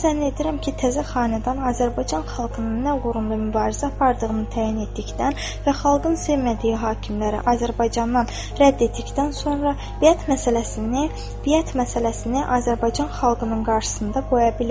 Mən zənn edirəm ki, təzə xanədan Azərbaycan xalqının nə uğrunda mübarizə apardığını təyin etdikdən və xalqın sevmədiyi hakimləri Azərbaycandan rədd etdikdən sonra biət məsələsini, biət məsələsini Azərbaycan xalqının qarşısında qoya bilər.